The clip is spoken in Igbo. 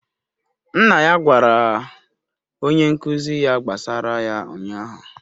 Nna ya gwara onye nkụzi ya gbasara ya ụnyahụ